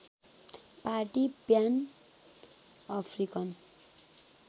party pan African